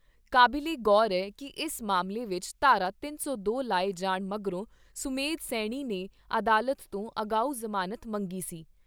ਕਾਬਿਲੇ ਗੌਰ ਐ ਕਿ ਇਸ ਮਾਮਲੇ ਵਿਚ ਧਾਰਾ ਤਿੰਨ ਸੌ ਦੋ ਲਾਏ ਜਾਣ ਮਗਰੋਂ ਸੁਮੇਧ ਸੈਣੀ ਨੇ ਅਦਾਲਤ ਤੋਂ ਅਗਾਊਂ ਜ਼ਮਾਨਤ ਮੰਗੀ ਸੀ।